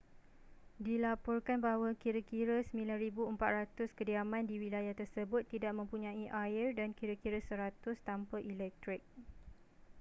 dilaporkan bahawa kira-kira 9400 kediaman di wilayah tersebut tidak mempunyai air dan kira-kira 100 tanpa elektrik